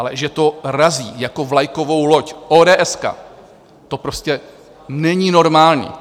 Ale že to razí jako vlajkovou loď ódéeska, to prostě není normální.